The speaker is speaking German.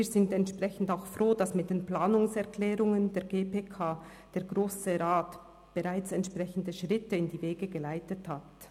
Wir sind dementsprechend auch froh, dass mit den Planungserklärungen der GPK der Grosse Rat bereits entsprechende Schritte in die Wege geleitet hat.